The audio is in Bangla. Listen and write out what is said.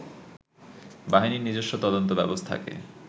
বাহিনীর নিজস্ব তদন্ত ব্যবস্থাকে